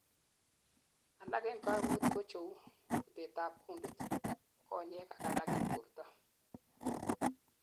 alak en kaimutik kocheu:butetab kundit, konyek ak alak en borto